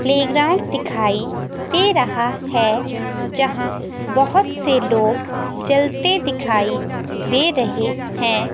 Playground दिखाई दे रहा है जहां बहोत से लोग चलते दिखाई दे रहे हैं।